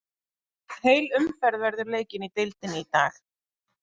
Heil umferð verður leikin í deildinni í dag.